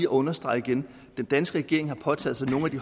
understrege igen den danske regering har påtaget sig nogle af de